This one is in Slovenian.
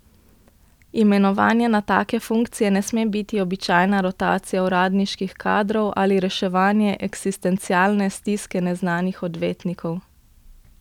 Imenovanje na take funkcije ne sme biti običajna rotacija uradniških kadrov ali reševanje eksistencialne stiske neznanih odvetnikov.